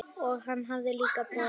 Og hann hafði líka brosað.